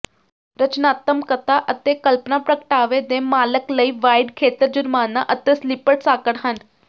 ਰਚਨਾਤਮਕਤਾ ਅਤੇ ਕਲਪਨਾ ਪ੍ਰਗਟਾਵੇ ਦੇ ਮਾਲਕ ਲਈ ਵਾਈਡ ਖੇਤਰ ਜੁਰਮਾਨਾ ਅਤੇ ਸਲਿਪਰ ਸਾਕਟ ਹਨ